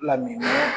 Lamini